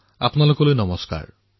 আপোনালোক সকলোকে নমস্কাৰ